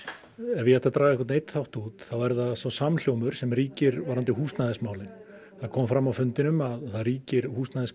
ef ég ætti að draga einhvern einn þátt út þá er það þessi samhljómur sem ríkir varðandi húsnæðismálin það kom fram á fundinum að það ríkir